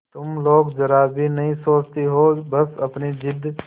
तुम लोग जरा भी नहीं सोचती हो बस अपनी जिद